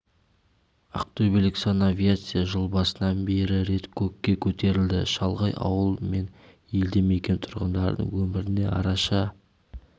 ақтөбелік санавиация жыл басынан бері рет көкке көтерілді шалғай ауыл мен елді мекен тұрғындарының өміріне араша